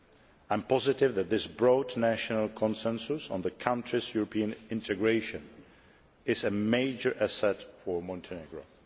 I am positive that this broad national consensus on the country's European integration is a major asset for Montenegro.